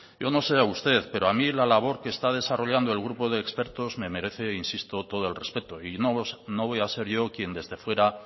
yo no sé usted pero a mí la labor que está desarrollando el grupo de expertos me merece insisto todo el respeto y no voy a ser yo quien desde fuera